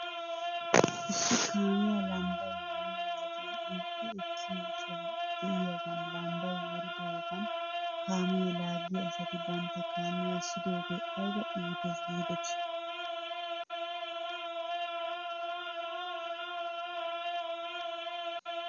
Issi kaamiyaa lambbay wuriyo wodiyan duuqqi ekkiyoo soho de'iyaagan lambbay wuridaagan kaamiyaa laaggiyaa asati bantta kaamiyaa essiigidoogee ayba iitees giidetii?